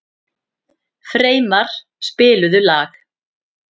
Freymar, spilaðu lag.